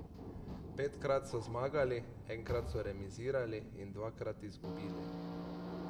Petkrat so zmagali, enkrat so remizirali in dvakrat izgubili.